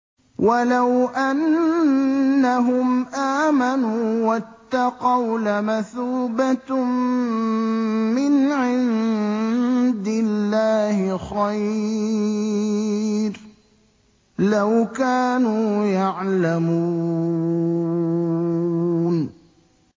وَلَوْ أَنَّهُمْ آمَنُوا وَاتَّقَوْا لَمَثُوبَةٌ مِّنْ عِندِ اللَّهِ خَيْرٌ ۖ لَّوْ كَانُوا يَعْلَمُونَ